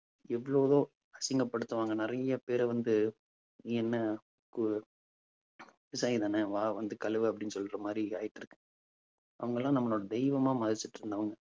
எவ்வளவோ அசிங்கப்படுத்துவாங்க. நிறைய பேரை வந்து நீ என்ன ஒரு விவசாயிதானே வா வந்து கழுவு அப்பிடின்னு சொல்ற மாதிரி ஆயிட்டு இருக்கு. அவங்கெல்லாம் நம்மளை தெய்வமா மதிச்சுட்டிருந்தவங்க